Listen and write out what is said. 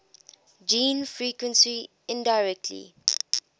gene frequency indirectly